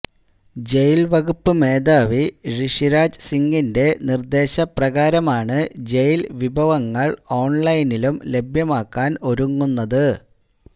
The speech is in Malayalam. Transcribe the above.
ജയില് വകുപ്പ് മേധാവി ഋഷിരാജ് സിങ്ങിന്റെ നിര്ദേശ പ്രകാരമാണു ജയില് വിഭവങ്ങള് ഓണ്ലൈനിലും ലഭ്യമാക്കാന് ഒരുങ്ങുന്നത്